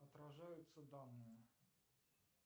отражаются данные